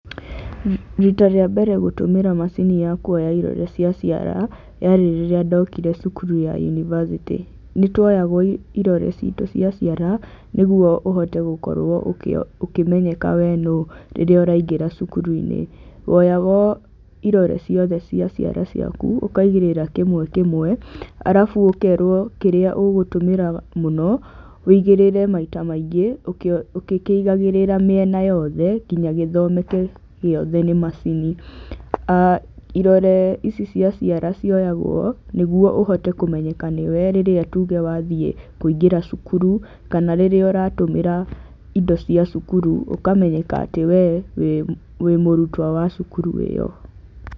Rita rĩa mbere gũtũmĩra macini ya kuoya irore cia ciara, yarĩ rĩrĩa ndokire cukuru ya unibacĩtĩ. Nĩ tuoyagwo irore citu cia ciara, nĩguo ũhote gũkorwo ũkĩmenyeka wee nũ rĩrĩa ũraigĩra cukuru-inĩ. Woyagwo irore ciothe cia ciara ciaku, ũkaigĩrĩra kĩmwe kĩmwe, arabu ũkerwo kĩrĩa ũgũtũmĩra mũno wĩigĩrĩre maita maingĩ ũgĩkĩigagĩrĩra miena yothe nginya gĩthomeke gĩothe nĩ macini. Irore ici cia ciara cioyagwo nĩguo ũhote kũmeyeka nĩ wee rĩrĩa tuge wathiĩ kũigĩra cukuru kana rĩrĩa ũratũmĩra indo cia cukuru ũkamenyeka atĩ wee wĩ mũrutwo wa cukuru ĩyo.